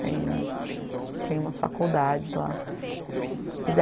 Tem tem umas faculdades lá.